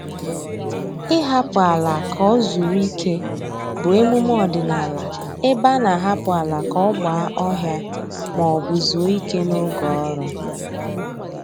Ịhapụ ala ka o zuru ike bụ emume ọdịnaala ebe a na-ahapụ ala ka ọ gba ọhịa maọbụ zuo ike n'oge ọrụ